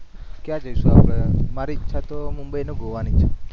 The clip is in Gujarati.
ક્યા જઈશુ આપણે? મારી એચ્છા તો મુબંઈ અને ગોવા ની છે